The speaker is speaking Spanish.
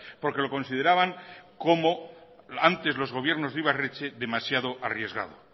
porque lo consideraban como antes los gobiernos de ibarretxe demasiado arriesgado